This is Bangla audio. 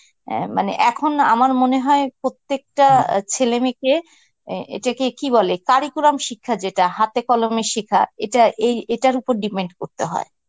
অ্যাঁ মানে এখন না আমার মনে হয় প্রত্যেকটা ছেলে মেয়েকে অ্যাঁ এটাকে কি বলে কারিকুরাম শিক্ষা যেটা হাতে কলমে শিখা, এটা এই এটার উপর depend করতে হয়.